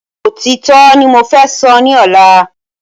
Òtítọ́ ní mo fẹ́ sọ ni ọ̀la